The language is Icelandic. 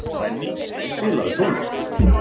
Benný, spilaðu tónlist.